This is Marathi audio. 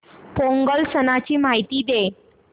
पोंगल सणाची माहिती दे